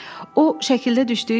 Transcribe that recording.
O şəkildə düşdüyü kimidir?